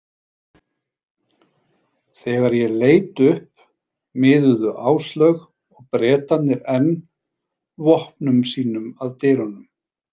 Þegar ég leit upp miðuðu Áslaug og Bretarnir enn vopnum sínum að dyrunum.